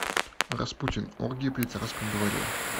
распутин оргии при царском дворе